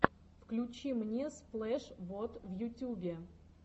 включи мне сплэш вот в ютубе